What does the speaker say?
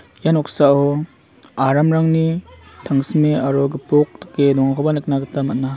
ia noksao aramrangni tangsime aro gipok dake dongakoba nikna gita man·a.